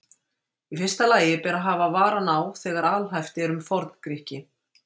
Í fyrsta lagi ber að hafa varann á þegar alhæft er um Forngrikki.